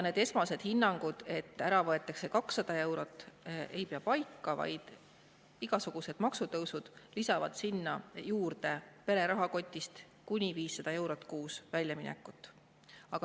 Need esmased hinnangud, et ära võetakse 200 eurot, ei pea paika, igasugused maksutõusud lisavad sinna juurde väljamineku pere rahakotist kuni 500 eurot kuus.